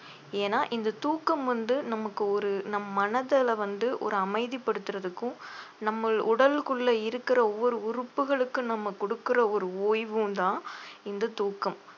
ஏன்னா இந்த தூக்கம் வந்து நமக்கு ஒரு நம் மனதுல வந்து ஒரு அமைதிப்படுத்துறதுக்கும் நம்மில் உடலுக்குள்ள இருக்கிற ஒவ்வொரு உறுப்புகளுக்கும் நம்ம கொடுக்கிற ஒரு ஓய்வும்தான் இந்த தூக்கம்